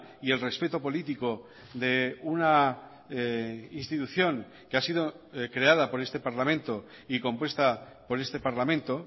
y el respeto político de una institución que ha sido creada por este parlamento y compuesta por este parlamento